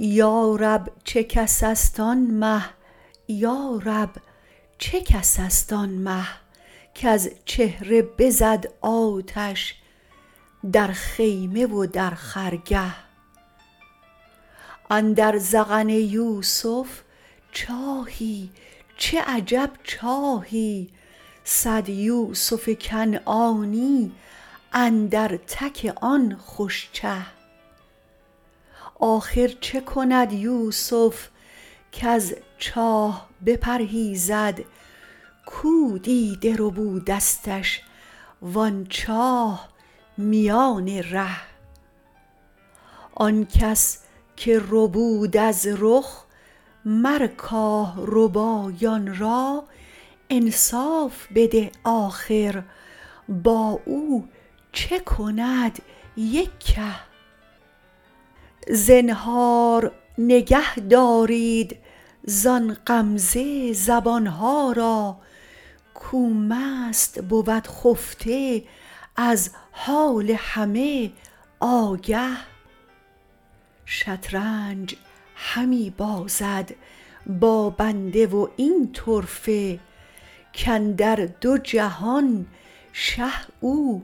یا رب چه کس است آن مه یا رب چه کس است آن مه کز چهره بزد آتش در خیمه و در خرگه اندر ذقن یوسف چاهی چه عجب چاهی صد یوسف کنعانی اندر تک آن خوش چه آخر چه کند یوسف کز چاه بپرهیزد کو دیده ربودستش و آن چاه میان ره آن کس که ربود از رخ مر کاه ربایان را انصاف بده آخر با او چه کند یک که زنهار نگهدارید زان غمزه زبان ها را کو مست بود خفته از حال همه آگه شطرنج همی بازد با بنده و این طرفه کاندر دو جهان شه او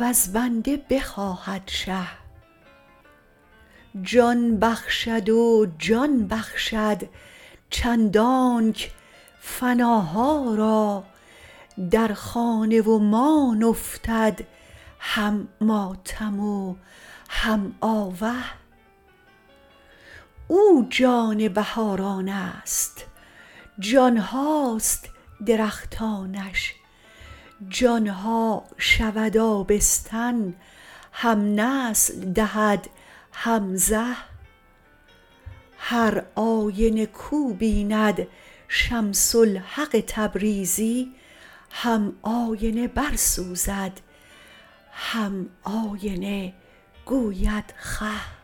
وز بنده بخواهد شه جان بخشد و جان بخشد چندانک فناها را در خانه و مان افتد هم ماتم و هم آوه او جان بهاران است جان هاست درختانش جان ها شود آبستن هم نسل دهد هم زه هر آینه کو بیند شمس الحق تبریزی هم آینه برسوزد هم آینه گوید خه